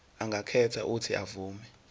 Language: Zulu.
angakhetha uuthi avume